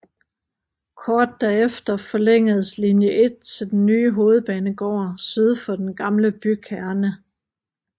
Kort derefter forlængedes linje 1 til den nye hovedbanegård syd for den gamle bykerne